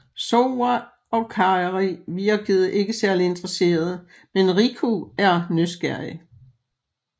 Sora og Kairi virker ikke særlig interreseret men Riku er nysgerrig